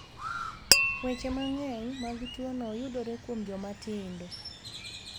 Weche mang'eny mag tuo no yudore kuom joma tindo.